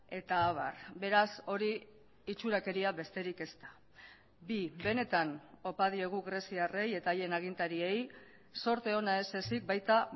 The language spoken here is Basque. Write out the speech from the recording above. eta abar beraz hori itxurakeria besterik ez da bi benetan opa diegu greziarrei eta haien agintariei zorte ona ez ezik baita